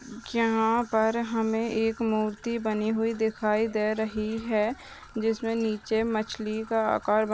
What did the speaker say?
यहा पर हमे एक मूर्ति बनी हुई दिखाई दे रही है जिसमे नीचे मछ्ली का आकार ब--